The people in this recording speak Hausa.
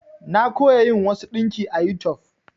Na koya yin wasu ɗinki a YouTube.